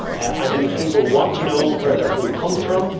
I believe people want to know where their food comes from.